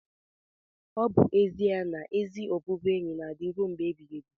ọ bụ ezie na ezi ọbụbụenyi na-adị rue mgbe ebighị ebi.